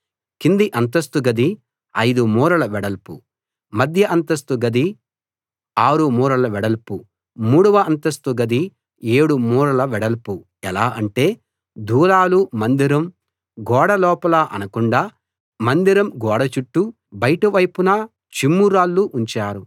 కింది అంతస్తు గది 5 మూరల వెడల్పు మధ్య అంతస్తు గది 6 మూరల వెడల్పు మూడవ అంతస్తు గది 7 మూరల వెడల్పు ఎలా అంటే దూలాలు మందిరం గోడ లోపల ఆనకుండా మందిరం గోడ చుట్టూ బయటి వైపున చిమ్ము రాళ్లు ఉంచారు